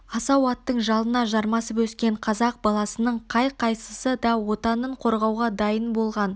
асау аттың жалына жармасып өскен қазақ баласының қай-қайсысы да отанын қорғауға дайын болған